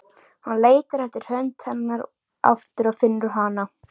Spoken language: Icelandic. Hann leitar eftir hönd hennar aftur og finnur hana.